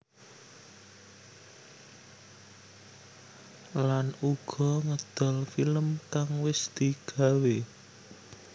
Lan uga ngedol film kang wis digawé